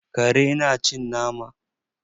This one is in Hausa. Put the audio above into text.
Kare na cin nama?